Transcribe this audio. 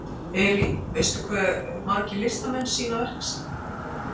Elín, veistu hversu margir listamenn sýna verk sín?